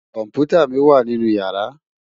Kòmpútá mi wá ninú yàrá